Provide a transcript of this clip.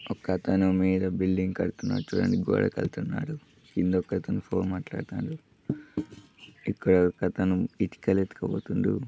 ఒకతను మీద బిల్డింగ్ కడతన్నాడు చూడండి గోడ కడతన్నాడు కింద ఒకతను ఫోన్ మాట్లాడుతుండు ఇక్కడొకతను ఇటుకలు ఎత్తుకుపోతాండు --